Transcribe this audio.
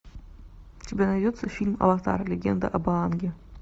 у тебя найдется фильм аватар легенда об аанге